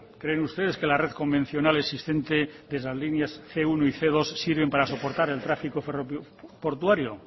creen ustedes que la red convencional existente las líneas cien uno y cien dos sirven para soportar el tráfico ferroportuario